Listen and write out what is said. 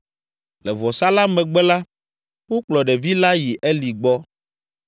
Le vɔsa la megbe la, wokplɔ ɖevi la yi Eli gbɔ.